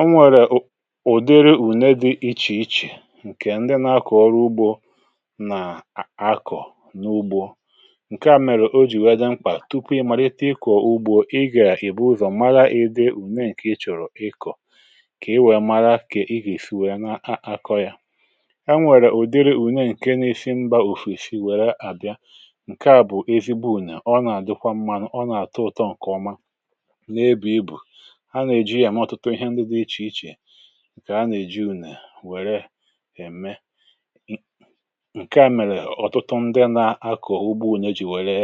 Ọnwèrè ụ̀dịrị ùne dị̇ iche iche, ǹkè ndị nà-akọ̀ ọrụ ugbȯ nà-àkọ̀ n’ugbȯ. Ǹkè à mèrè o jì wèe dị mkpà, tupu ị màlite ịkọ̀ ugbȯ, ị gà-èbu ụzọ̀ mara ịdị ùne ǹkè ị chọ̀rọ̀ ịkọ̀, kà i wèe mara kà ị gà-èsi wèe n’akọ̇ ya. Enwèrè ụ̀dịrị ùne ǹkè n’isi mbà òfèsi wère àbịa. Ǹkè à bụ̀ ezigbo ùnè, ọ nà-àdịkwa mma, nà ọ nà-àtụ ụ̀tọ ǹkè ọma n'ebu ibu. Ǹkè a nà-èji ule wère ème ihe ndi dị iche iche ǹkè à na eji unee were eme. Nke a mèrè ọ̀tụtụ ndị nà-akọ̀ ugbȯ ùne jì wère,